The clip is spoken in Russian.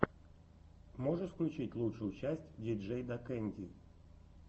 можешь включить лучшую часть диджейдакэнди